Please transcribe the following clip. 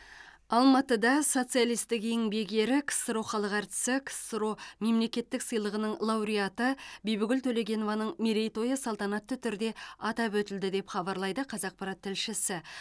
алматыда социалистік еңбек ері ксро халық әртісі ксро мемлекеттік сыйлығының лауреаты бибігүл төлегенованың мерейтойы салтанатты түрде атап өтілді деп хабарлайды қазақпарат тілшісі